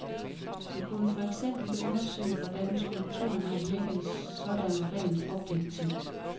Det kunne for eksempel undersøge, hvordan skulpturen har virket, sådan rent objektivt.